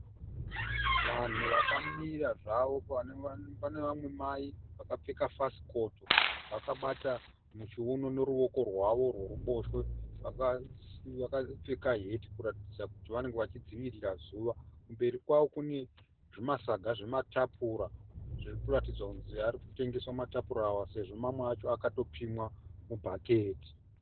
Vanhu vakamira zvavo. Pane vamwe mai vakapfeka fasikoto vakabata muchiuno neruoko rwavo rweruboshwe. Vakapfeka heti kuratidza kuti vari kudzivirira zuva. Kumberi kwavo kune zvimasaga zvematapura zvinoratidza kuti arikutengeswa matapura aya sezvo amwe akatopimwa mubhaketi.